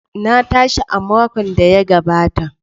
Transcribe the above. Na tashi a makon da ya gabata.